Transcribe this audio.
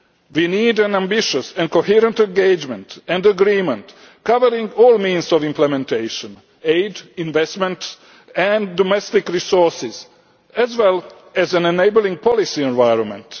We need an ambitious and coherent engagement and agreement, covering all means of implementation aid, investment and domestic resources, as well as an enabling policy environment.